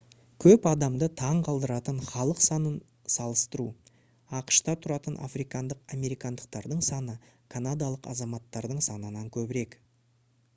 көп адамды таң қалдыратын халық санын салыстыру ақш-та тұратын африкандық американдықтардың саны канадалық азаматтардың санынан көбірек